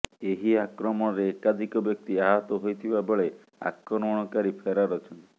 ଏହି ଆକ୍ରମଣରେ ଏକାଧିକ ବ୍ୟକ୍ତି ଆହତ ହୋଇଥିବା ବେଳେ ଆକ୍ରମଣକାରୀ ଫେରାର ଅଛନ୍ତି